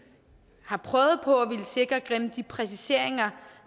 har prøvet på at ville sikre gennem de præciseringer